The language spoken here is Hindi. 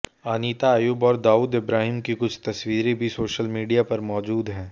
अनीता अयूब और दाऊद इब्राहिम की कुछ तस्वीरें भी सोशल मीडिया पर मौजूद हैं